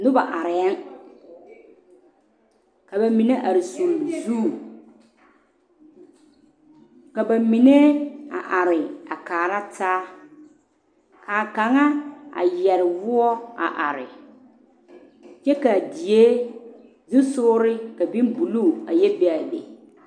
Noba arɛɛŋ ka ba mine are sulli zu ka ba mine a are a kaara taa ka kaŋa a yɛre woɔ a are kyɛ k,a die zusogre ka bonbuluu ayɛ be a be.